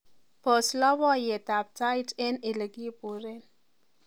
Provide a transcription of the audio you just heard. pos lopoyet at tait en ilekiburen